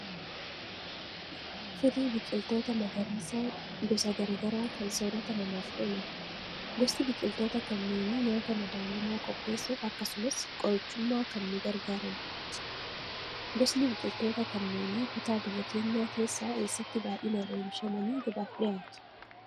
Firii biqiltoota magariisaa gosa garaa garaa kan soorata namaaf oolan. Gosti biqiltoota kanneenii nyaata madaalamaa qopheessuuf akkasumas qorichummaa kan nu gargaaranidha. Gosni biqiltoota kanneenii kutaa biyya keenyaa keessaa eessatti baay'inaan oomishamanii gabaaf dhiyaatu?